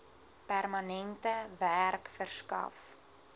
permanente werk verskaf